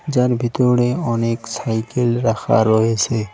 যার ভিতরে অনেক সাইকেল রাখা রয়েসে।